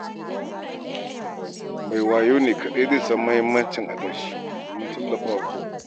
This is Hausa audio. Mai wayo ne kaɗai zai san muhimmanci adashi domin tallafawa kai.